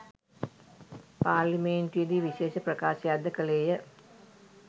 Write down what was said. පාර්ලිමේන්තුවේදී විශේෂ ප්‍රකාශයක්ද කළේය